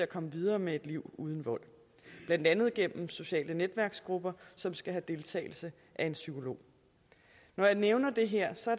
komme videre med et liv uden vold blandt andet gennem sociale netværksgrupper som skal have deltagelse af en psykolog når jeg nævner det her